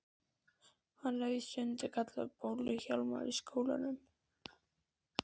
Hann er víst stundum kallaður Bólu-Hjálmar í skólanum.